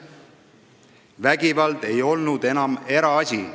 Vägivald ei olnud enam eraasi.